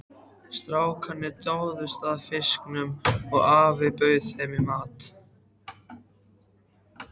Strákarnir dáðust að fiskunum og afinn bauð þeim í mat.